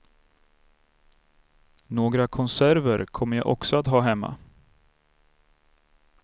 Några konserver kommer jag också att ha hemma.